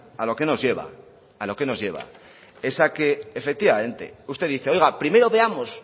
a lo que nos lleva a lo que nos lleva es a que efectivamente usted dice oiga primero veamos